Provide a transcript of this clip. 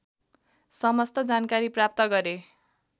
समस्त जानकारी प्राप्त गरे